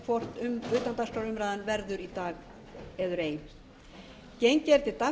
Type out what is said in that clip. hvort utandagskrárumræðan verður í dag eður ei